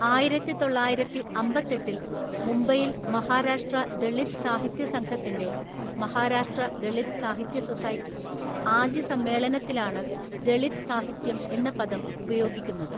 ആയിരത്തിതൊള്ളായിരത്തിഅമ്പത്തെട്ടില്‍ മുംബൈയിൽ മഹാരാഷ്ട്ര ദളിത് സാഹിത്യ സംഘത്തിൻ്റെ (മഹാരാഷ്ട്ര ദളിത് സാഹിത്യ സൊസൈറ്റി) ആദ്യ സമ്മേളനത്തിലാണ് 'ദളിത് സാഹിത്യം' എന്ന പദം ഉപയോഗിക്കുന്നത്.